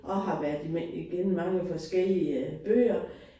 Og har været igennem mange forskellige bøger